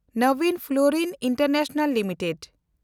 Nabin Florin International limited